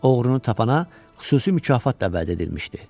Oğrunu tapana xüsusi mükafat da vəd edilmişdi.